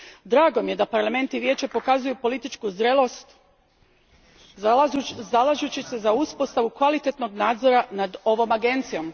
Drago mi je da Parlament i Vijeće pokazuju političku zrelost zalažući se za uspostavu kvalitetnog nadzora nad ovom agencijom.